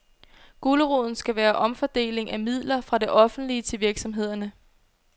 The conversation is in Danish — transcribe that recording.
Guleroden skal være omfordeling af midler fra det offentlige til virksomhederne.